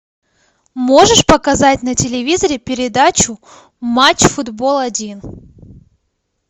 можешь показать на телевизоре передачу матч футбол один